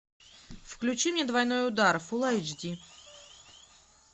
включи мне двойной удар фулл айч ди